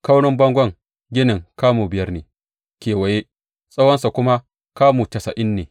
Kaurin bangon ginin kamu biyar ne kewaye, tsawonsa kuma kamu tasa’in ne.